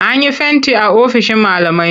An yi fenti a ofishin malamai.